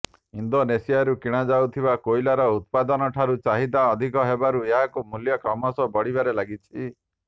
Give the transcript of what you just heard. ଇଣ୍ଡୋନେସିଆରୁ କିଣା ଯାଉଥିବା କୋଇଲାର ଉତ୍ପାଦନଠାରୁ ଚାହିଦା ଅଧିକ ହେବାରୁ ଏହାର ମୂଲ୍ୟ କ୍ରମଶଃ ବଢିବାରେ ଲାଗିଛି